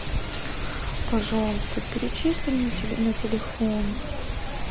пожалуйста перечисли мне на телефон